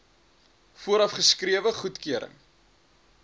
vooraf geskrewe goedkeuring